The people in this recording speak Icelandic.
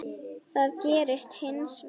Það gerðist hins vegar.